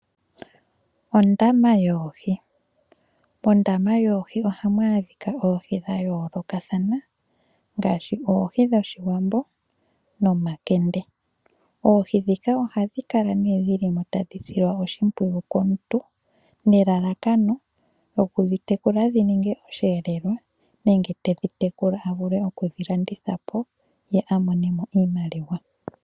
Ondama yoohi, mondama yoohi ohamu adhika oohi dha yoolokathana ngaashi oohi dhoshiwambo noomakende ,oohi dhika ohadhi kala dhili mo tadhi silwa oshimpwiyu komuntu nelalakano lyokudhi tekula dhininge oshiyelelwa nenge tedhi tekula avule okudhi landitha po ye amone mo iimaliwa.